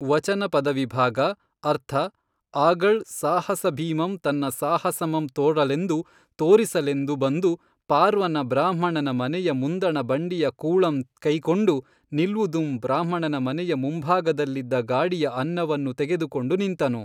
ವಚನ ಪದವಿಭಾಗ ಅರ್ಥ ಆಗಳ್ ಸಾಹಸಭೀಮಂ ತನ್ನ ಸಾಹಸಮಂ ತೋಱಲೆಂದು ತೋರಿಸಲೆಂದು ಬಂದು ಪಾರ್ವನ ಬ್ರಾಹ್ಮಣನ ಮನೆಯ ಮುಂದಣ ಬಂಡಿಯ ಕೂೞಂ ಕೆಯ್ಕೊಂಡು ನಿಲ್ವುದುಂ ಬ್ರಾಹ್ಮಣನ ಮನೆಯ ಮುಂಭಾಗದಲ್ಲಿದ್ದ ಗಾಡಿಯ ಅನ್ನವನ್ನು ತೆಗೆದುಕೊಂಡು ನಿಂತನು.